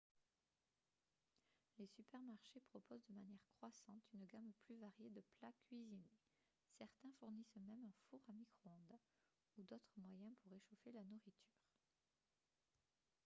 les supermarchés proposent de manière croissante une gamme plus variée de plats cuisinés certains fournissent même un four à micro-ondes ou d'autres moyens pour réchauffer la nourriture